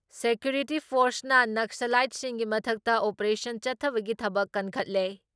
Security ꯐꯣꯔꯁꯅ ꯅꯛꯁꯂꯥꯏꯠꯁꯤꯡꯒꯤ ꯃꯊꯛꯇ ꯑꯣꯄꯦꯔꯦꯁꯟ ꯆꯠꯊꯕꯒꯤ ꯊꯕꯛ ꯀꯟꯈꯠꯂꯦ ꯫